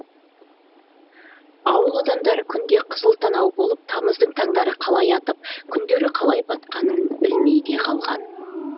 ауыл адамдары күнде қызыл танау болып тамыздың таңдары қалай атып күндері қалай батқанын білмей де қалған